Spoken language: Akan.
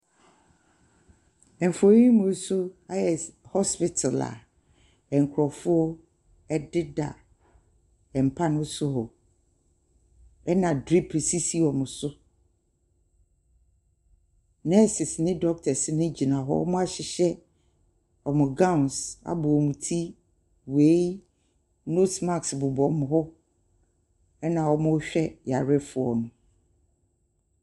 Mfonin yi mu nso ayɛ s ayɛ hospital a nkurɔfoɔ deda mpa no so. Ɛna drip sisi wɔn so. Nurses ne doctors no gyin. Wɔahyehyɛ wɔn gowns abɔ wɔn ti. Wei . Nose mask bobɔ wɔn ho, ɛna wɔrehwɛ yarefoɔ no.